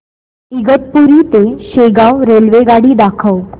इगतपुरी ते शेगाव रेल्वेगाडी दाखव